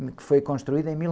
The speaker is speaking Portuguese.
que foi construída em mil...